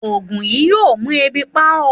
Ògùn yìí yóò mú ebi pa ó